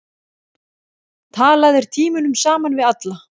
Talaðir tímunum saman við alla.